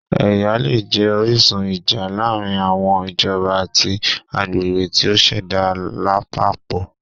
Ẹya le jẹ orisun ija laarin awọn ijọba ati agbegbe ti o ṣẹda lapapọ